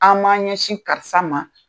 An m'an ɲɛsin karisa ma